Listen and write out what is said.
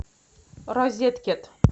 розеткет